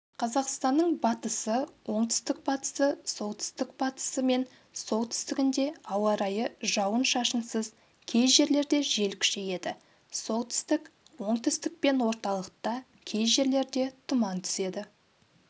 қазақстанның батысы оңтүстік-батысы солтүстік-батысы мен солтүстігінде ауа райы жауын-шашынсыз кей жерлерде жел күшейеді солтүстік оңтүстік пен орталықта кей жерлерде тұман түседі